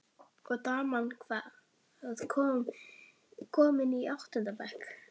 Og daman, hvað- komin í áttunda bekk?